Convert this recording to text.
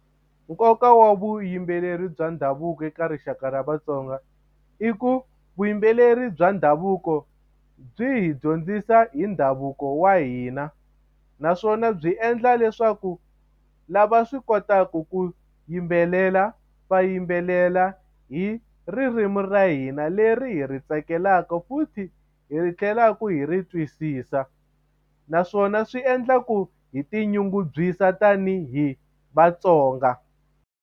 Nkoka wa vuyimbeleri bya ndhavuko eka rixaka ra Vatsonga i ku vuyimbeleri bya ndhavuko byi hi dyondzisa hi ndhavuko wa hina naswona byi endla leswaku lava swi kotaka ku yimbelela va yimbelela hi ririmi ra hina leri hi ri tsakelaka futhi hi tlhelaku hi ri twisisa naswona swi endla ku hi tinyungubyisa tanihi Vatsonga.